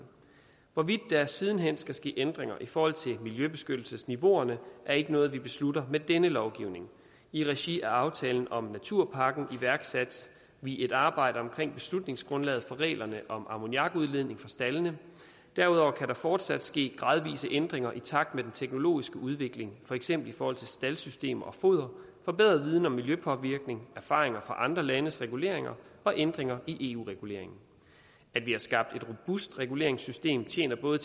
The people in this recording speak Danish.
hvorvidt der siden hen skal ske ændringer i forhold til miljøbeskyttelsesniveauerne er ikke noget vi beslutter med denne lovgivning i regi af aftalen om naturpakken iværksatte vi et arbejde omkring beslutningsgrundlaget for reglerne om ammoniakudledning fra staldene derudover kan der fortsat ske gradvise ændringer i takt med den teknologiske udvikling for eksempel i forhold til staldsystemer og foder forbedret viden om miljøpåvirkning erfaringer fra andre landes reguleringer og ændringer i eu reguleringen at vi har skabt et robust reguleringssystem tjener både